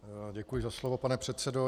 Děkuji za slovo, pane předsedo.